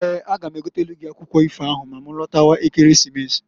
Eeǃ A ga m egotelu gị akwụkwụ ifo ahụ ma ma lọtawa Ekeresimesi.